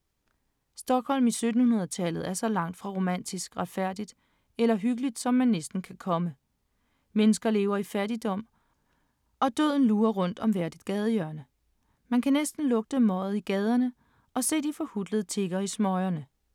Stockholm i 1700-tallet er så langt fra romantisk, retfærdigt eller hyggeligt som man næsten kan komme. Mennesker lever i fattigdom, og døden lurer rundt om hvert et gadehjørne. Man kan næsten lugte møget i gaderne og se de forhutlede tiggere i smøgerne.